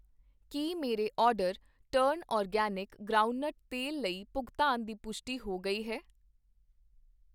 ਕੀ ਮੇਰੇ order turn organic ground nut ਤੇਲ ਲਈ ਭੁਗਤਾਨ ਦੀ ਪੁਸ਼ਟੀ ਹੋ ਗਈ ਹੈ?